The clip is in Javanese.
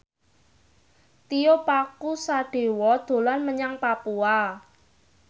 Tio Pakusadewo dolan menyang Papua